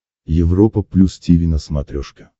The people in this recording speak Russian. европа плюс тиви на смотрешке